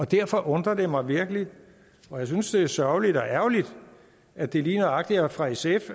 derfor undrer det mig virkelig og jeg synes det er sørgeligt og ærgerligt at det lige nøjagtig er fra sfs